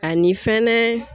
Ani fɛnɛ